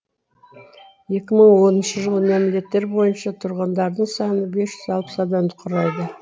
екі мың оныншы жылғы мәліметтер бойынша тұрғындардың саны бес жүз алпыс адамды құрайды